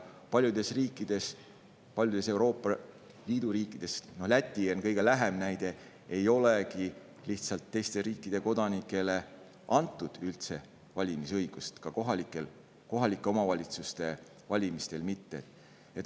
Paljudes riikides, paljudes Euroopa Liidu riikides, Läti on kõige lähem näide, lihtsalt ei olegi teiste riikide kodanikele üldse valimisõigust antud, ka kohalike omavalitsuste valimistel mitte.